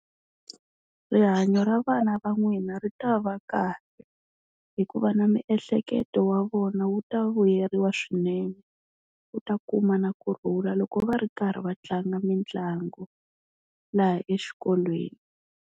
Rihanyo ra vana va n'wina ri ta va kahle, hikuva na miehleketo wa vona wu ta vuyeriwa swinene u ta kuma na kurhula loko va ri karhi va tlanga mitlangu laha exikolweni.